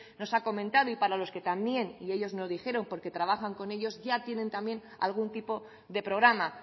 nos ha comentado y para los que también y ellos nos dijeron porque trabajan con ellos ya tienen también algún tipo de programa